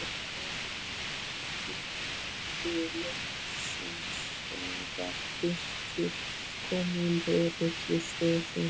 Jóhann hringdi loksins þegar Birkir kom á lögreglustöðina.